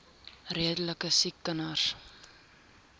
redelike siek kinders